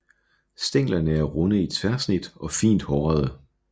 Stænglerne er runde i tværsnit og fint hårede